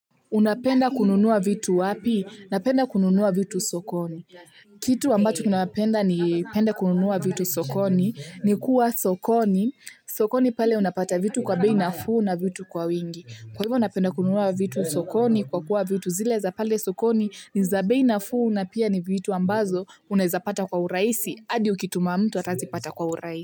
Unapenda kununua vitu wapi? Napenda kununua vitu sokoni. Kitu ambacho ninapenda nipende kununua vitu sokoni ni kuwa sokoni. Sokoni pale unapata vitu kwa bei nafuu na vitu kwa wingi. Kwa hivyo napenda kununua vitu sokoni kwa kuwa vitu zile za pale sokoni ni za bei nafuu na pia ni vitu ambazo unaweza pata kwa urahisi hadi ukituma mtu atazipata kwa urahisi.